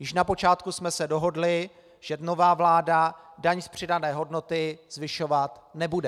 Již na počátku jsme se dohodli, že nová vláda daň z přidané hodnoty zvyšovat nebude.